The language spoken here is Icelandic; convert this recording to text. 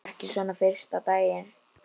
Ekki svona fyrsta daginn.